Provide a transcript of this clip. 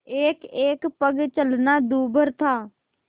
एकएक पग चलना दूभर था